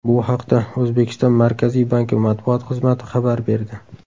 Bu haqda O‘zbekiston Markaziy banki matbuot xizmati xabar berdi .